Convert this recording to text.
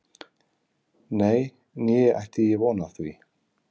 Nei, né ætti ég von á því